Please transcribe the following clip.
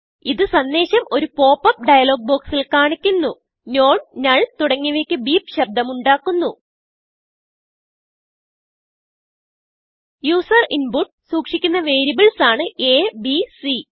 ഇത് സന്ദേശം ഒരു പോപ്പ് അപ്പ് ഡയലോഗ് ബോക്സിൽ കാണിക്കുന്നു Nonnull തുടങ്ങിയവയ്ക്ക് ബീപ് ശബ്ദം ഉണ്ടാക്കുന്നു യൂസർ ഇൻപുട്ട് സൂക്ഷിക്കുന്ന വേരിയബിൾസാണ് അ ബ് സി